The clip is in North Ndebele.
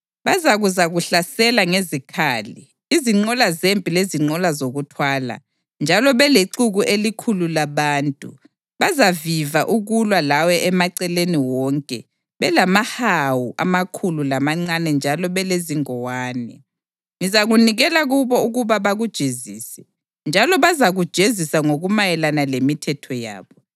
Bazakuzakuhlasela ngezikhali, izinqola zempi lezinqola zokuthwala, njalo belexuku elikhulu labantu; bazaviva ukulwa lawe emaceleni wonke belamahawu amakhulu lamancane njalo belezingowane. Ngizakunikela kubo ukuba bakujezise, njalo bazakujezisa ngokumayelana lemithetho yabo.